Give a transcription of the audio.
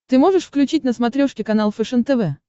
ты можешь включить на смотрешке канал фэшен тв